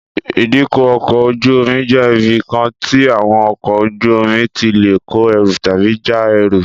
Ìdíkọ̀ ọkọ̀ ojú-omi jẹ́ ibi kan tí àwọn ọkọ̀ ojú-omi tí lè kó ẹrù tàbí já ẹrù